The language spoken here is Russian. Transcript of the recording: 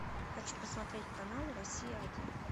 хочу посмотреть канал россия один